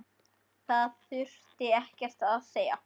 Það þurfti ekkert að segja.